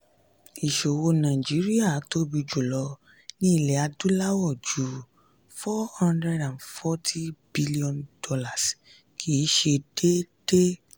ìṣòwò nàìjíríà tóbi jùlọ ní ilẹ̀ adúláwọ̀ ju four hundred and forty billion dollars kìí ṣe déédéé.